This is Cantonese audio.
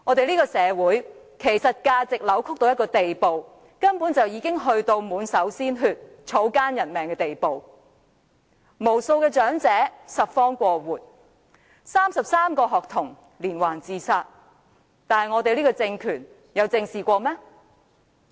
這個社會的價值觀，根本扭曲到一個滿手鮮血、草菅人命的地步，無數長者要拾荒過活 ，33 名學童連環自殺，這個政權有正視過嗎？